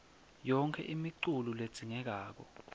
yonkhe imiculu ledzingekako